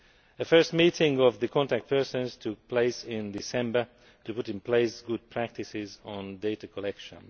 The first meeting of these contact persons took place in December, to put in place good practices on data collection.